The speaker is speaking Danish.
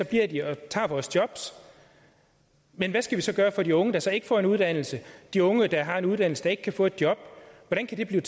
bliver de og tager vores jobs men hvad skal vi så gøre for de unge der så ikke får en uddannelse og de unge der har en uddannelse og ikke kan få et job hvordan kan